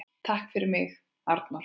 Takk fyrir mig, Arnór.